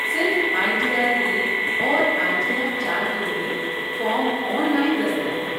صرف I T R ایک اور آئی ٹی آر چار کے لیے فارم آن لائن دستیاب ہیں